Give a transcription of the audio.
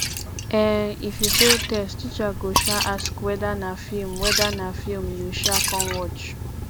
um if you fail test teacher go um ask whether na film whether na film you um come watch